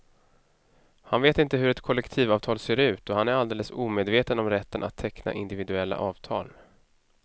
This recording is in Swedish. Han vet inte hur ett kollektivavtal ser ut och han är alldeles omedveten om rätten att teckna individuella avtal.